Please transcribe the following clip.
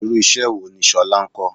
Irú iṣẹ́ wo ni Ṣọlá ń kọ?